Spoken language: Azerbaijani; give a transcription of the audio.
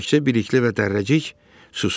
Təkcə Bilikli və Dərrəcik susurdu.